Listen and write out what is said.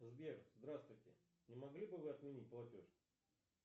сбер здравствуйте не могли бы вы отменить платеж